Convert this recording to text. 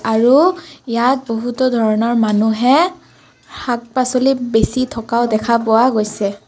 আৰু ইয়াত বহুতো ধৰণৰ মানুহে শাক-পাচলি বেছি থকাও দেখা পোৱা গৈছে।